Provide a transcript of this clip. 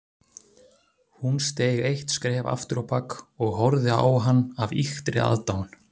Hún steig eitt skref afturábak og horfði á hann af ýktri aðdáun.